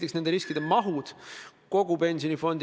Aga need ilmingud tekitavad tegelikult küsimusi.